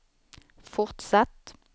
fortsatt